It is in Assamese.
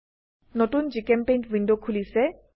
নতুন জিচেম্পেইণ্ট উইন্ডো খোলিছে